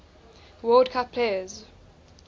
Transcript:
world cup players